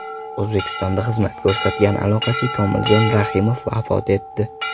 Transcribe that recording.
O‘zbekistonda xizmat ko‘rsatgan aloqachi Komiljon Rahimov vafot etdi.